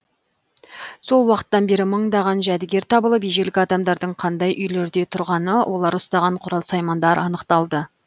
сол уақыттан бері мыңдаған жәдігер табылып ежелгі адамдардың қандай үйлерде тұрғаны олар ұстаған құрал саймандар анықталды